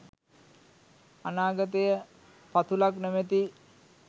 අනාගතය පතුලක් නොමැති